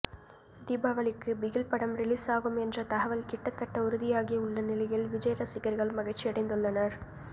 தீபாவளிக்கு பிகில் படம் ரிலீஸாகும் என்ற தகவல் கிட்டதட்ட உறுதியாகியுள்ள நிலையில் விஜய் ரசிகர்கள் மகிழ்ச்சியடைந்துள்ளனர்